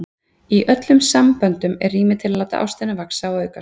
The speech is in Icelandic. Í öllum samböndum er rými til að láta ástina vaxa og aukast.